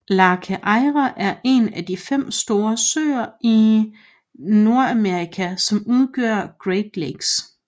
Lake Erie er en af de fem store søer i Nordamerika som udgør Great Lakes